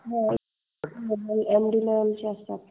हो M D लेव्हलचे असतात.